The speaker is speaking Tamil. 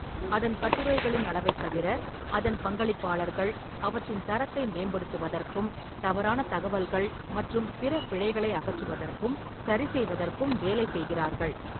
அதன் கட்டுரைகளின் அளவைத் தவிர, அதன் பங்களிப்பாளர்கள் அவற்றின் தரத்தை மேம்படுத்துவதற்கும், தவறான தகவல்கள் மற்றும் பிற பிழைகளை அகற்றுவதற்கும் சரிசெய்வதற்கும் வேலை செய்கிறார்கள்.